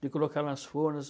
De colocar nas fornas.